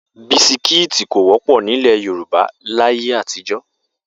Bisikíìtì kò wọ́pọ̀ nílẹ̀ Yorùbá láyé àtijọ́